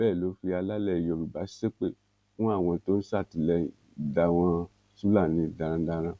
bẹẹ ló fi alálẹ yorùbá ṣépè fún àwọn tó ń ṣatiléyng dáwọn fúlàní darandaran